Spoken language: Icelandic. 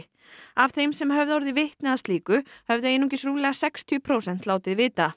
af þeim sem höfðu orðið vitni að slíku höfðu einungis rúmlega sextíu prósent látið vita